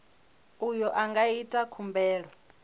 uyo a nga ita khumbelo